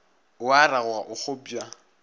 o a ragoga o kgopša